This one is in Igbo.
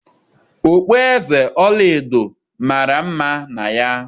Okpueze ọla edo mara mma na ya.